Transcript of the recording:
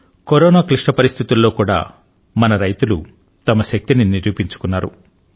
corona క్లిష్ట పరిస్థితులలో కూడా మన రైతులు వారి శక్తిని నిరూపించుకున్నారు